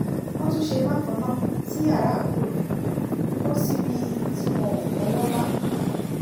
wọ́n tún ṣe bákan náà sí yàrá àbúrò mi kọ́ síbi tí wọn ò fọwọ́ bá